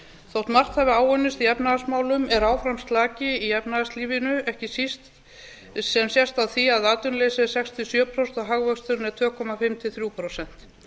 þótt margt hafi áunnist í efnahagsmálum er áfram slaki í efnahagslífinu sem sést á því að atvinnuleysið er sex til sjö prósent og hagvöxturinn tvö og hálft til þrjú prósent